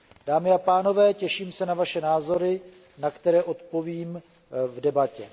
Dámy a pánové, těším se na vaše názory, na které odpovím v debatě.